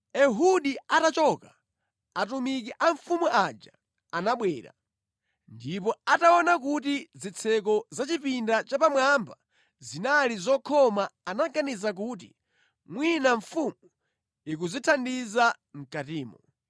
Ehudi atachoka, atumiki a mfumu aja anabwera, ndipo ataona kuti zitseko za chipinda chapamwamba zinali zokhoma anaganiza kuti mwina mfumu ikudzithandiza mʼkatimo.